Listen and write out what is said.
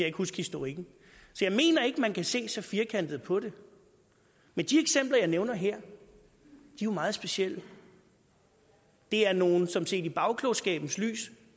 ikke huske historikken så jeg mener ikke man kan se så firkantet på det men de eksempler jeg nævner her er jo meget specielle det er nogle som set i bagklogskabens lys